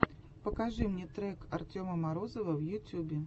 покажи мне трек артема морозова в ютьюбе